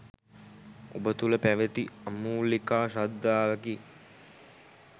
ඔබ තුල පැවති අමූලිකා ශ්‍රද්ධාවකි